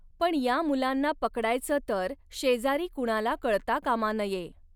पण या मुलांना पकडायचं तर शेजारी कुणाला कळता कामा नये.